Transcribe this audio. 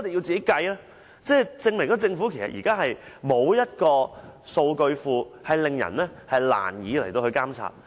這證明政府現時沒有一個數據庫，令人難以監察。